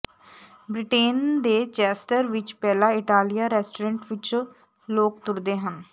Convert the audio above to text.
Britain ਦੇ Chester ਵਿਚ Bella Italia restaurant ਵਿਚ ਲੋਕ ਤੁਰਦੇ ਹਨ